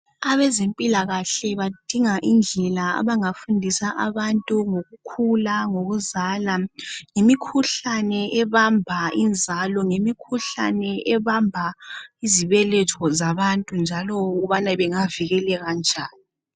Abezempilakahle badinga indlela abangafundisa abantu ngokukhula ngokuzala ngemikhuhlane ebamba inzalo ngemikhuhlane ebamba izibeletho zabantu njalo ukubana bengavikeleka njani.